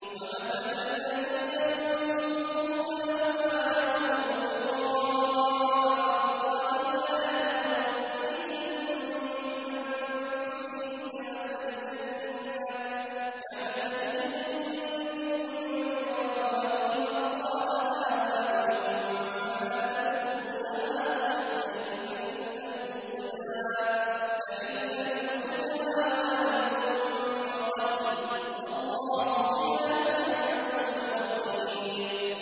وَمَثَلُ الَّذِينَ يُنفِقُونَ أَمْوَالَهُمُ ابْتِغَاءَ مَرْضَاتِ اللَّهِ وَتَثْبِيتًا مِّنْ أَنفُسِهِمْ كَمَثَلِ جَنَّةٍ بِرَبْوَةٍ أَصَابَهَا وَابِلٌ فَآتَتْ أُكُلَهَا ضِعْفَيْنِ فَإِن لَّمْ يُصِبْهَا وَابِلٌ فَطَلٌّ ۗ وَاللَّهُ بِمَا تَعْمَلُونَ بَصِيرٌ